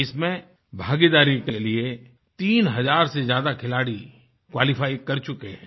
इसमें भागीदारी के लिए 3000 से ज्यादा खिलाड़ी क्वालिफाई कर चुके हैं